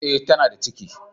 Eh tana da ciki.